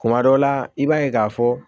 Kuma dɔ la i b'a ye k'a fɔ